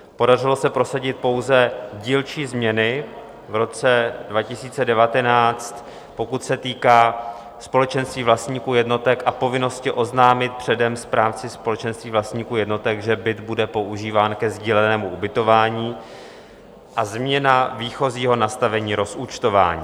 Podařilo se prosadit pouze dílčí změny v roce 2019, pokud se týká společenství vlastníků jednotek a povinnosti oznámit předem správci společenství vlastníků jednotek, že byt bude používán ke sdílenému ubytování, a změna výchozího nastavení rozúčtování.